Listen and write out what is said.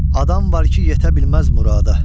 Adam var ki, yetə bilməz murada.